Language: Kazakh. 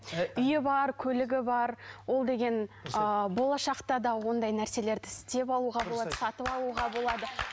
үйі бар көлігі бар ол деген ыыы болашақта да ондай нәрселерді істеп алуға болады сатып алуға болады